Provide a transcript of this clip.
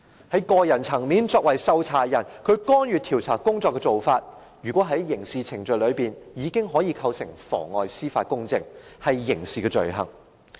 在個人層面，作為受查人，他干預調查工作的做法，根據刑事程序，已足以構成妨礙司法公正，屬於刑事罪行。